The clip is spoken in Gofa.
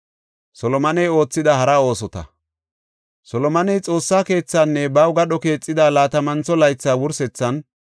Solomoney Xoossa keethaanne baw gadho keexida laatamantho laytha wursethan,